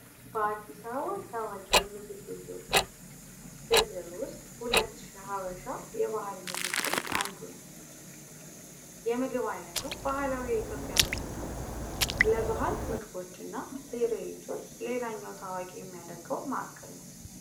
በአዲስ አበባ ባህላዊ የምግብ ቤት ዝርዝር አንዱ ነው ከምግብ ዝርዝሮች ውስጥ ሁለት ሺ ሀበሻ አንዱ ነው ባህላዊ የኢትዮጵያ ምግብ ነው ለባህል ምግቦችና ትርዒቶች ሌላኛው ታዋቂ የሚያደርገው ማዕከል ነው።